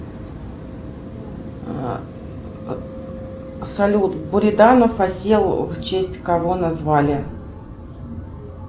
салют буриданов осел в честь кого назвали